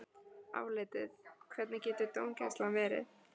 Álitið: Hvernig hefur dómgæslan verið?